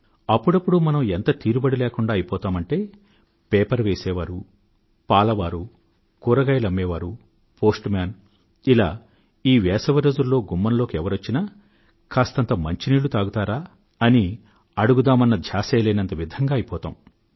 అప్పుడప్పుడు మనం ఎంత తీరుబడి లేకుండా అయిపోతామంటే పేపర్ వేసే వారు పాల వారు కూరగాయలమ్మే వారు పోస్ట్ మన్ ఇలా ఈ వేసవి రోజుల్లో గుమ్మంలోకి ఎవరొచ్చినా కాస్తంత మంచినీళ్లు తాగుతారా అని అడుగుదామన్న ధ్యాసే లేనంత విధంగా అయిపోతాం